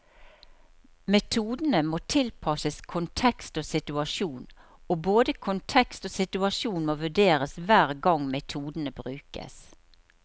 Metodene må tilpasses kontekst og situasjon, og både kontekst og situasjon må vurderes hver gang metodene brukes.